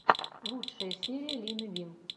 лучшая серия лины вин